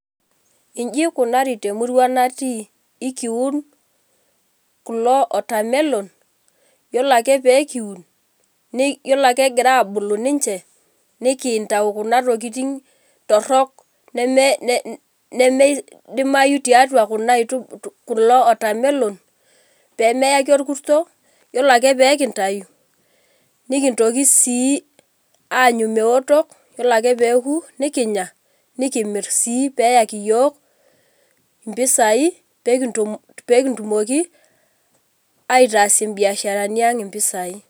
Iji ikunari temurua natii. Ikiun kulo watermelon, yiolo ake pee kiun, yiolo ake egira abulu ninche, nikintau kuna tokiting torrok nimidimayu tiatua kuna aitubulu, kulo watermelon, pemeyaki orkusto, yiolo ake pekintayu, nikintoki si aanyu meoto, yiolo ake peku, nikinya, nikimir si peyaki yiok impisai, pekitumoki aitaas ibiasharani ang impisai.